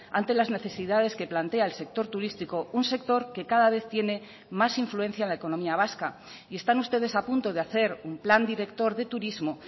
ante las necesidades que plantea el sector turístico un sector que cada vez tiene más influencia en la economía vasca y están ustedes a punto de hacer un plan director de turismo